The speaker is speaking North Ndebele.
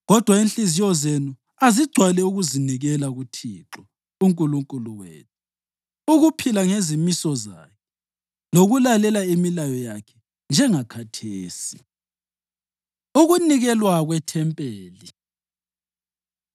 Kodwa inhliziyo zenu azigcwale ukuzinikela kuThixo uNkulunkulu wethu, ukuphila ngezimiso zakhe lokulalela imilayo yakhe, njengakhathesi.” Ukunikelwa KweThempeli